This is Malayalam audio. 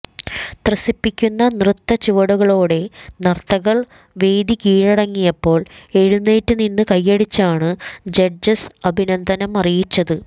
ത്രസിപ്പിക്കുന്ന നൃത്തചുവടുകളോടെ നർത്തകർ വേദി കീഴടക്കിയപ്പോൾ എഴുന്നേറ്റ് നിന്ന് കയ്യടിച്ചാണ് ജഡ്ജസ് അഭിനന്ദനം അറിയിച്ചത്